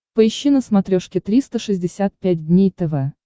поищи на смотрешке триста шестьдесят пять дней тв